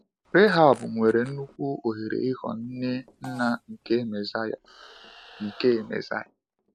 Rahab nwere nnukwu ohere ịghọọ nne nna nke Mesiya. nke Mesiya.